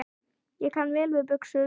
Ég kann vel við buxur.